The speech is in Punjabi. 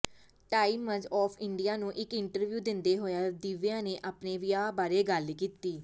ਟਾਈਮਜ਼ ਆਫ਼ ਇੰਡੀਆ ਨੂੰ ਇਕ ਇੰਟਰਵਿਊ ਦਿੰਦੇ ਹੋਏ ਦਿਵਿਆ ਨੇ ਆਪਣੇ ਵਿਆਹ ਬਾਰੇ ਗੱਲ ਕੀਤੀ